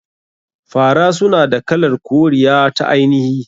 Fara suna da kalar koriya ta ainihi.